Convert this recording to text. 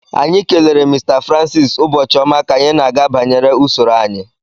Anyị kelere Mr francis ụbọchị ọma ka anyị na-aga banyere usoro anyị